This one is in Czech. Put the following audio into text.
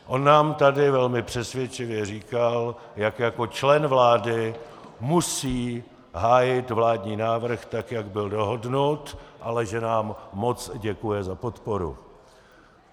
On nám tady velmi přesvědčivě říkal, jak jako člen vlády musí hájit vládní návrh tak, jak byl dohodnut, ale že nám moc děkuje za podporu.